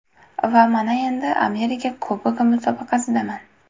Va mana endi Amerika Kubogi musobaqasidaman.